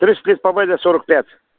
тридцать лет победы сорок пять